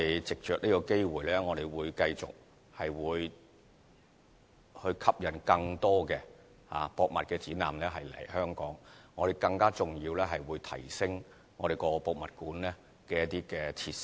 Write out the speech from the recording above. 藉着這個機會，我們會繼續吸引更多博物館展覽來香港舉行，更重要的是會更提升博物館的設施。